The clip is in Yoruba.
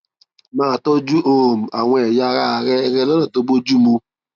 máa tọjú um àwọn ẹyà ara rẹ rẹ lọnà tó bójú mu